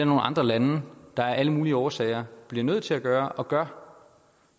nogle andre lande der af alle mulige årsager bliver nødt til at gøre og gør